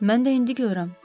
Mən də indi görürəm.